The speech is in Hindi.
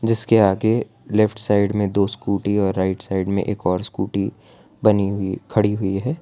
जिसके आगे लेफ्ट साइड में दो स्कूटी और राइट साइड में एक और स्कूटी बनी हुई खड़ी हुई है।